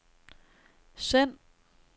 send